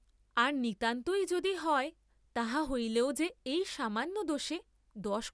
আর নিতান্তই যদি হয়, তাহা হইলেও যে এই সামান্য দোষে দশ।